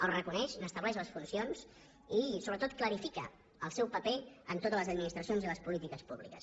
els reconeix n’estableix les funcions i sobretot clarifica el seu paper en totes les administracions i les polítiques públiques